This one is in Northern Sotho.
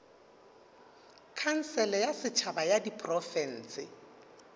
khansele ya setšhaba ya diprofense